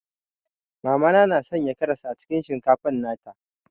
Mama na na Sanya karas cikin shinkafa nata.